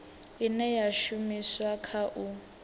ine ya shumiswa kha u